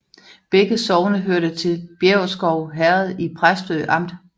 Begge sogne hørte til Bjæverskov Herred i Præstø Amt